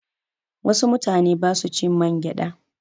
Wasu mutane ba su cin mangyaɗa.